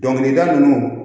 Dɔnkilida ninnu